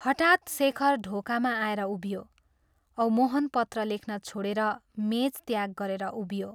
हठात् शेखर ढोकामा आएर उभियो औ मोहन पत्र लेख्न छोड़ेर मेच त्याग गरेर उभियो।